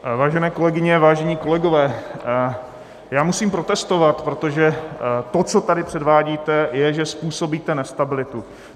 Vážené kolegyně, vážení kolegové, já musím protestovat, protože to, co tady předvádíte, je, že způsobíte nestabilitu.